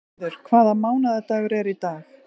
Auður, hvaða mánaðardagur er í dag?